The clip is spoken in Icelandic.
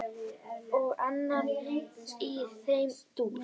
Og annað í þeim dúr.